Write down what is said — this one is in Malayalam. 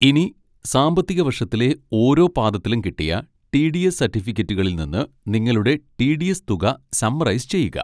ഇനി സാമ്പത്തിക വർഷത്തിലെ ഓരോ പാദത്തിലും കിട്ടിയ ടി. ഡി. എസ് സർട്ടിഫിക്കറ്റുകളിൽ നിന്ന് നിങ്ങളുടെ ടി. ഡി. എസ് തുക സമ്മറൈസ് ചെയ്യുക.